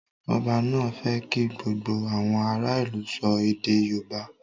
Ọba náà fẹ́ kí gbogbo àwọn ará ìlú sọ èdè yóòbá